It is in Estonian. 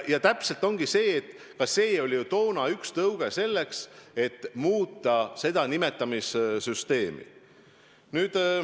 Täpselt nii ongi, et ka see oli ju toona üks tõuge selleks, et muuta seda nimetamissüsteemi.